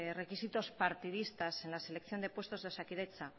requisitos partidistas en la selección de puestos de osakidetza